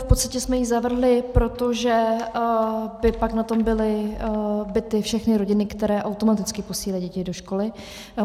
V podstatě jsme ji zavrhli, protože by pak na tom byly bity všechny rodiny, které automaticky posílají děti do školy.